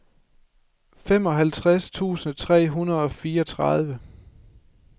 femoghalvtreds tusind tre hundrede og fireogtredive